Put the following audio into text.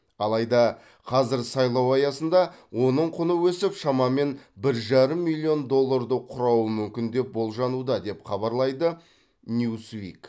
алайда қазір сайлау аясында оның құны өсіп шамамен бір жарым миллион долларды құрауы мүмкін деп болжануда деп хабарлайды ньюс вик